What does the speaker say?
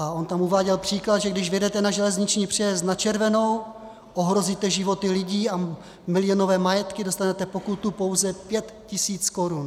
A on tam uváděl příklad, že když vjedete na železniční přejezd na červenou, ohrozíte životy lidí a milionové majetky, dostanete pokutu pouze 5 tisíc korun.